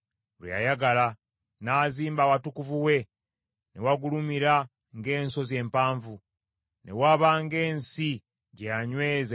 N’azimba awatukuvu we ne wagulumira ng’ensozi empanvu; ne waba ng’ensi gye yanyweza emirembe gyonna.